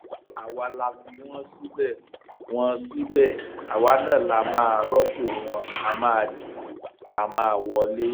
àwa la fi wọn síbẹ wọn síbẹ àwa náà la máa rọpò wọn á máa dìbò a máa wọlé